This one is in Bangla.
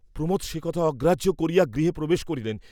প্রমোদ সে কথা অগ্রাহ্য করিয়া গৃহে প্রবেশ করিলেন।